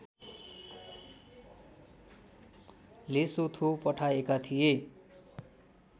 Lesotho पठाएका थिए